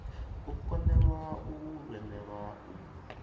u konḓelwa u lemelwa u